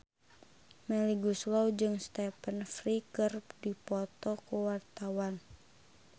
Melly Goeslaw jeung Stephen Fry keur dipoto ku wartawan